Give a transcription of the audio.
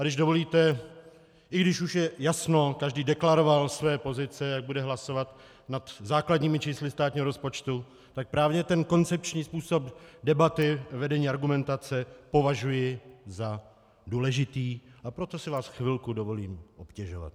A když dovolíte, i když už je jasno, každý deklaroval své pozice, jak bude hlasovat nad základními čísly státního rozpočtu, tak právě ten koncepční způsob debaty, vedení argumentace, považuji za důležitý, a proto si vás chvilku dovolím obtěžovat.